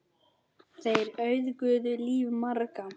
Þeir auðguðu líf margra.